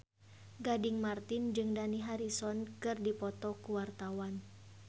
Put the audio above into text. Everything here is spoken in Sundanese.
Gading Marten jeung Dani Harrison keur dipoto ku wartawan